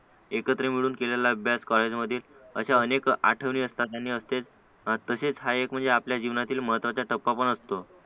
एकत्र मिळून केलेला अभ्यास कॉलेजमधील अशा अनेक आठवणी असतात आणि असतात आणि तसेच हा एक आपल्या जीवनातील महत्त्वाचा टप्पा पण असतो